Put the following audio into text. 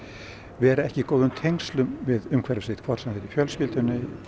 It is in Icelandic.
vera ekki í góðum tengslum við umhverfi sitt hvort sem það í fjölskyldunni